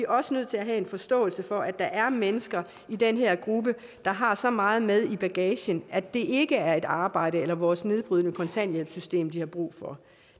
også nødt til have forståelse for at der er mennesker i den her gruppe der har så meget med i bagagen at det ikke er et arbejde eller vores nedbrydende kontanthjælpssystem de har brug for